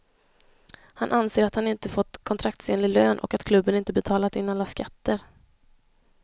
Han anser att han inte fått kontraktsenlig lön och att klubben inte betalat in alla skatter.